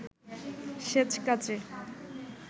সেচ কাজে